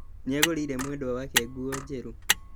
Nĩagũrĩire mwendwa wake nguo njerũ